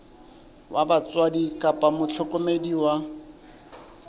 wa batswadi kapa mohlokomedi wa